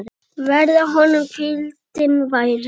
Verði honum hvíldin vær.